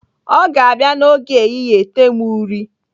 Ọ ga-abịa n'oge ehihie ete m uri.